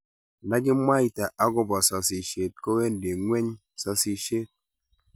Ndakimwaita akoba sasishet kowendi ngweny sasishet